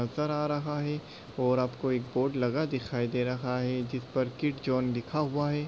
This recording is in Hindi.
नज़र आ रहा है और आपको एक बोर्ड लगा दिखाई दे रहा है जिस पर किड्जॉन लिखा हुआ है।